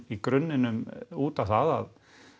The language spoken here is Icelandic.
í grunninn út á það